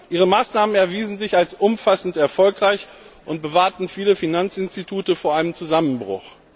Ihre Maßnahmen erwiesen sich als umfassend erfolgreich und bewahrten viele Finanzinstitute vor dem Zusammenbruch.